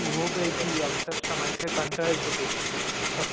अरे झोप यायची अक्षरशः माहितीये कंटाळा यायचा ते. सकाळी